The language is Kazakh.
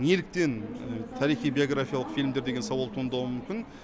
неліктен тарихи биографиялық фильмдер деген сауал туындауы мүмкін